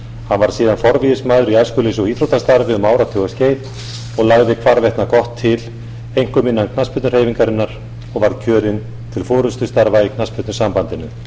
hann var síðan forvígismaður í æskulýðs og íþróttastarfi um áratugaskeið og lagði hvarvetna gott til einkum innan knattspyrnuhreyfingarinnar og var kjörinn til forustustarfa í knattspyrnusambandinu